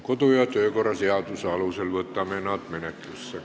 Kodu- ja töökorra seaduse alusel võtame nad menetlusse.